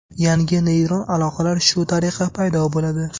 Yangi neyron aloqalar shu tariqa paydo bo‘ladi.